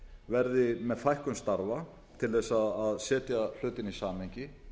verði með fækkun starfa til þess að setja hlutina í samhengi